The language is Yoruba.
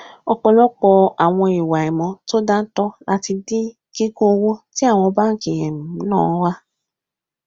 ọpọlọpọ àwọn ìwà àìmọ to dáńtọ là ti dín kíkún owó tí àwọn bánkì um náà wa